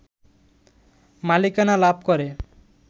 মালিকানা লাভ করে